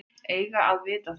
Eiga að vita það.